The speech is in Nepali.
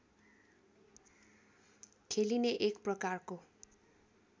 खेलिने एक प्रकारको